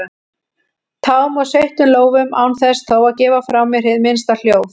tám og sveittum lófum án þess þó að gefa frá mér hið minnsta hljóð.